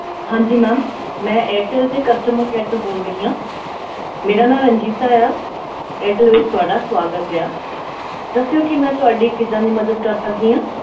ਹਾਂਜੀ ma'am ਮੈਂ ਏਅਰਟੈਲ ਦੇ customer care ਤੋਂ ਬੋਲ ਰਹੀ ਹਾਂ ਮੇਰਾ ਨਾਂ ਰਣਜੀਤਾ ਆ ਏਅਰਟੈਲ ਵਿੱਚ ਤੁਹਾਡਾ ਸਵਾਗਤ ਆ, ਦੱਸਿਓ ਕਿ ਮੈਂ ਤੁਹਾਡੀ ਕਿੱਦਾਂ ਦੀ ਮਦਦ ਕਰ ਸਕਦੀ ਹਾਂ,